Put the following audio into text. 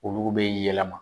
Olu bɛ yɛlɛma